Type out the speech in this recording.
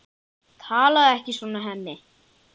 Talaðu ekki svona, Hemmi!